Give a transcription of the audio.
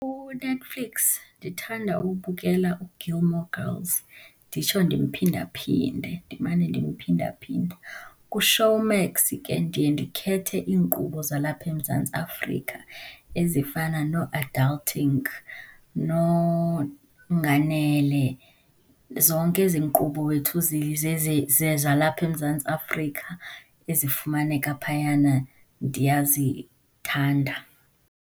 KuNetflix ndithanda ubukela uGilmore Girls, nditsho ndimphinda-phinde, ndimane ndimphinda-phinda. KuShowmax ke ndiye ndikhethe iinkqubo zalapha eMzantsi Afrika ezifana nooAdulting, noNganele, zonke ezi nkqubo wethu zalapha eMzantsi Afrika ezifumaneka phayana ndiyazithanda.